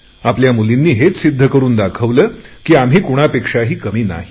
आपल्या मुलींनी हेच सिध्द करुन दाखवले की आम्ही कुणापेक्षाही कमी नाहीत